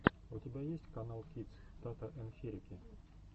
у тебя есть каналкидс тата ен хирики